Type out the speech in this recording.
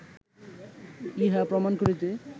ইহা প্রমাণ করিতে